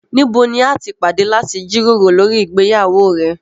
Níbò ní à tí pàdé láti jírórò lórí ìgbéyàwó rẹ̀?